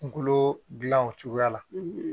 Kungolo dilan o cogoya la